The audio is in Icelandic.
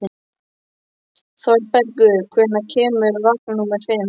Þorbergur, hvenær kemur vagn númer fimm?